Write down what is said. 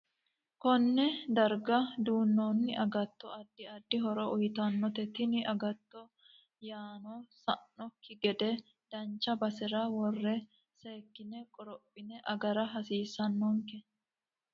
Konne darga duunooni agatto addi addi horo uyiitanote tini agatto yanna sa'anokki gede dancha basera worre seekine qorophine agara hasiisanonke